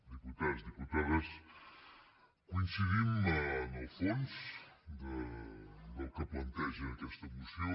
diputats diputades coincidim en el fons del que planteja aquesta moció